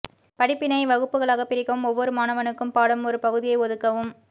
படிப்பினை வகுப்புகளாக பிரிக்கவும் ஒவ்வொரு மாணவனுக்கும் பாடம் ஒரு பகுதியை ஒதுக்கவும்